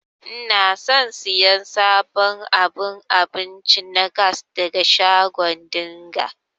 Ina son siyan sabon abun abinci na gas daga shago dinga.